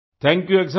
thank you excellency